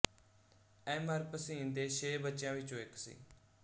M R Bhasin ਦੇ ਛੇ ਬੱਚਿਆਂ ਵਿਚੋਂ ਇੱਕ ਸੀ